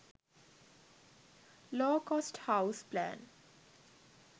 low cost house plan